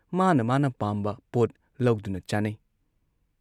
ꯃꯥꯅ ꯃꯥꯅ ꯄꯥꯝꯕ ꯄꯣꯠ ꯂꯧꯗꯨꯅ ꯆꯥꯅꯩ ꯫